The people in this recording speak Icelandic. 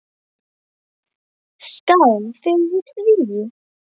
Skál fyrir því.